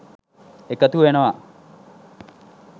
එකතු වෙනවා.